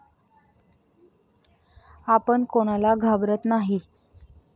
आपण कोणाला घाबरत नाही.